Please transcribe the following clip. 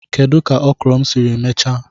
Kedu ka okro m siri mechaa?